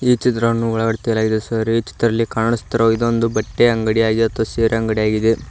ಈ ಚಿತ್ರವನ್ನು ಒಳಗಡೆ ತೆಗೆಯಲಾಗಿದೆ ಸರ್ ಈ ಚಿತ್ರಲ್ಲಿ ಕಾಣಸ್ತಿರುವ ಇದೊಂದು ಬಟ್ಟೆ ಅಂಗಡಿ ಆಗಿ ಆತು ಸೀರೆ ಅಂಗಡಿ ಆಗಿದೆ.